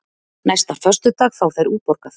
Næsta föstudag fá þeir útborgað.